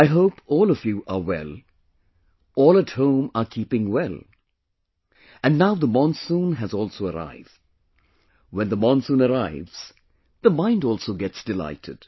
I hope all of you are well, all at home are keeping well... and now the monsoon has also arrived... When the monsoon arrives, the mind also gets delighted